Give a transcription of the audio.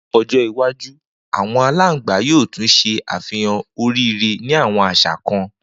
Ni ojo iwaju awọn alangba yoo tun ṣe afihan oríire ni awọn aṣa kan